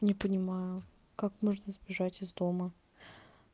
не понимаю как можно сбежать из дома